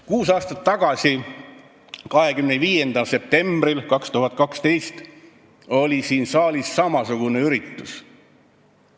Kuus aastat tagasi, 25. septembril 2012 oli siin saalis samasugune üritus.